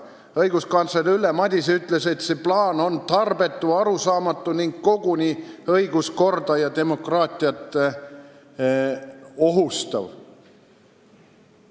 Õiguskantsler Ülle Madise ütles, et see plaan on tarbetu, arusaamatu ning koguni õiguskorda ja demokraatiat ohustav.